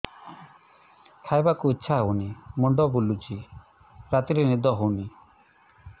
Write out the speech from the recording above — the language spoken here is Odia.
ଖାଇବାକୁ ଇଛା ହଉନି ମୁଣ୍ଡ ବୁଲୁଚି ରାତିରେ ନିଦ ହଉନି